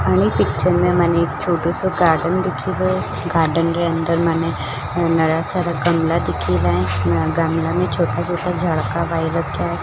अनि पिक्चर में मने एक छोटुसो कार्टून दिखी गयो गार्डन के अंदर मने नया सारा गमला दिखीरा ए नया गमला में छोटा छोटा झाड़का है।